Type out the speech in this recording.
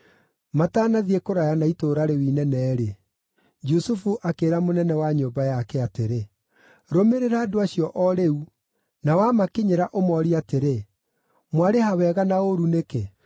Matanathiĩ kũraya na itũũra rĩu inene-rĩ, Jusufu akĩĩra mũnene wa nyũmba yake atĩrĩ, “Rũmĩrĩra andũ acio o rĩu, na wamakinyĩra ũmoorie atĩrĩ, ‘Mwarĩha wega na ũũru nĩkĩ?